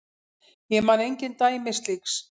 Ég man engin dæmi slíks.